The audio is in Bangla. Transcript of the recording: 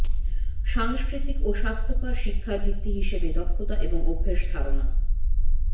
সাংস্কৃতিক ও স্বাস্থ্যকর শিক্ষার ভিত্তি হিসেবে দক্ষতা এবং অভ্যাস ধারণা